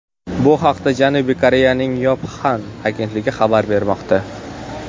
Bu haqda Janubiy Koreyaning Yonhap agentligi xabar bermoqda .